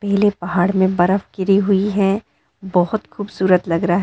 नीले पहाड़ में बरफ़ गिरी हुई है बहोत खूबसूरत लग रहा है।